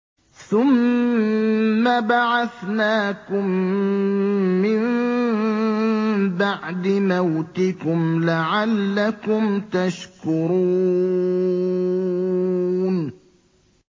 ثُمَّ بَعَثْنَاكُم مِّن بَعْدِ مَوْتِكُمْ لَعَلَّكُمْ تَشْكُرُونَ